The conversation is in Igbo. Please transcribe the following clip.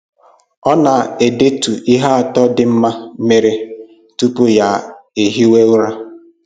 Ọ na edetu ihe atọ dị mma mere tupu ya ehiwe ụra